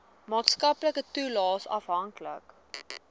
maatskaplike toelaes afhanklik